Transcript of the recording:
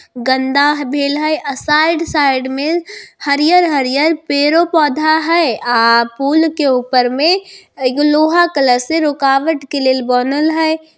गन्दा भेल है अ साइड - साइड में हरियर-हरियर पेड़-पोधा है अ पुल के ऊपर में एगो लोहा कलर सी रुकावत करल बनल है।